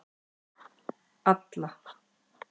Alla